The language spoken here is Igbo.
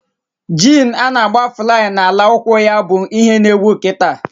Jin a-na agba flay na ala ụkwụ ya bụ ihe na ewu kịta